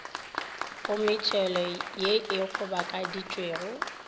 go metšhelo ye e kgobokeditšwego